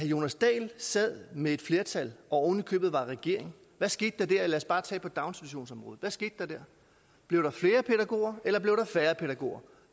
jonas dahl sad med et flertal og oven i købet var i regering lad os bare tage på daginstitutionsområdet hvad skete der da blev der flere pædagoger eller blev der færre pædagoger